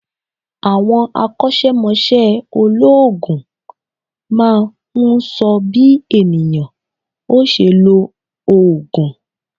Àwọn akọ́sẹ́mọsẹ́ olóòògùn máa n sọ bí ènìyàn ó se lo òògùn